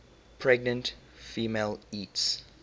pregnant female eats